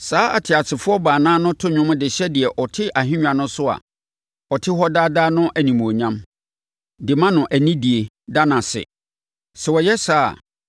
Saa ateasefoɔ baanan no to nnwom de hyɛ deɛ ɔte ahennwa no so a ɔte hɔ daa daa no animuonyam, de ma no anidie, da no ase. Sɛ wɔyɛ saa a,